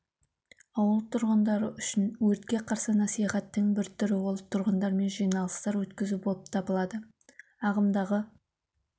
ауыл тұрғындары үшін өртке қарсы насихаттың бір түрі ол тұрғындармен жиналыстар өткізу болып табылады ағымдағы